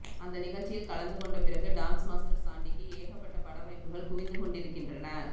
அந்த நிகழ்ச்சியில் கலந்து கொண்ட பிறகு டான்ஸ் மாஸ்டர் சாண்டிக்கு ஏகப்பட்ட பட வாய்ப்புகள் குவிந்து கொண்டிருக்கின்றன